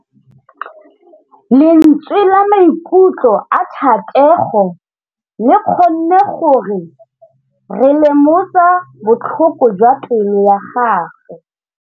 Lentswe la maikutlo a Thategô le kgonne gore re lemosa botlhoko jwa pelô ya gagwe.